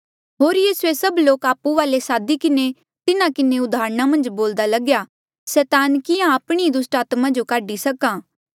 होर यीसूए सब लोक आपु वाले सादी किन्हें तिन्हा किन्हें उदाहरणा मन्झ बोल्दा लग्या सैतान किहाँ आपणी ई दुस्टात्मा जो काढी सक्हा